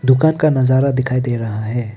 दुकान का नजारा दिखाई दे रहा है।